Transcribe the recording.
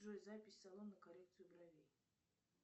джой запись в салон на коррекцию бровей